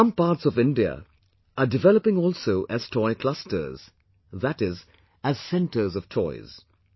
Some parts of India are developing also as Toy clusters, that is, as centres of toys